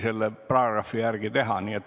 See on põhjendatud.